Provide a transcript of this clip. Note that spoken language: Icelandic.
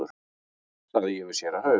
sagði ég við séra Hauk.